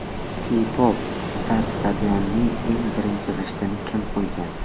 K Pop Star Stadionning eng birinchi g‘ishtini kim qo‘ygan?